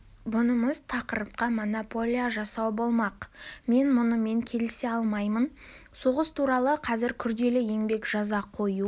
бұнымыз тақырыпқа монополия жасау болмақ мен мұнымен келісе алмаймын соғыс туралы қазір күрделі еңбек жаза қою